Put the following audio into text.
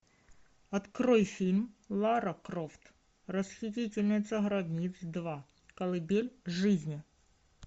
открой фильм лара крофт расхитительница гробниц два колыбель жизни